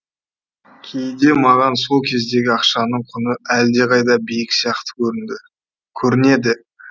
кейде маған сол кездегі ақшаның құны әлдеқайда биік сияқты көрінді көрінеді